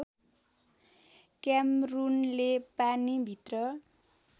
क्यामरूनले पानी भित्र